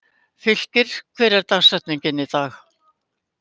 Fylkir, hver er dagsetningin í dag?